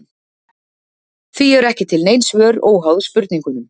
Því eru ekki til nein svör óháð spurningunum.